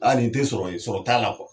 Aa nin te sɔrɔ ye sɔrɔ t'a la